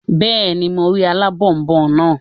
Bẹ́ẹ̀ni, mo rí alábònboǹ naa